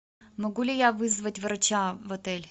могу ли я вызвать врача в отель